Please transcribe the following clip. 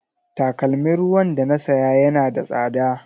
Takalmin ruwan da na saya yana da tsada.